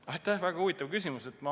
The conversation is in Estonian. Aitäh, väga huvitav küsimus!